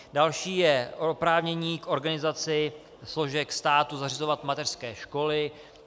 Další je oprávnění k organizaci složek státu zřizovat mateřské školy.